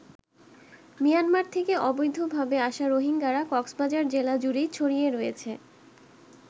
Myanmar থেকে অবৈধভাবে আসা রোহিঙ্গারা কক্সবাজার জেলা জুড়েই ছড়িয়ে রয়েছে।